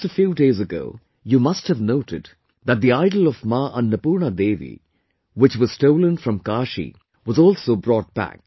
Just a few days ago you must have noted that the idol of Ma Annapurna Devi, which was stolen from Kashi, was also brought back